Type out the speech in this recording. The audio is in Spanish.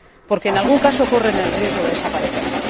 porque en algún caso corren el riesgo de desaparecer.